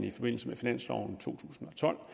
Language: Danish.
i forbindelse med finansloven for to tusind og tolv